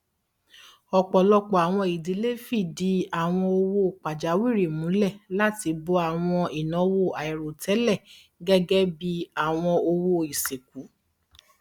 ọpọlọpọ àwọn ìdílé fìdí àwọn owó pajawìrí múlẹ láti bò àwọn ìnáwó àìròtẹlẹ gẹgẹ bí àwọn owó ìsìnkú